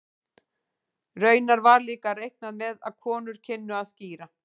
Raunar var líka reiknað með að konur kynnu að skíra.